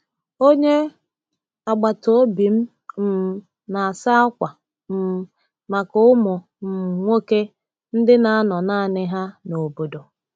Onye agbata obi m um na-asa akwa um maka ụmụ um nwoke ndị na-anọ naanị ha n’obodo.